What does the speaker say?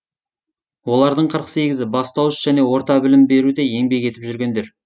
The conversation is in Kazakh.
олардың қырық сегізі бастауыш және орта білім беруде еңбек етіп жүргендер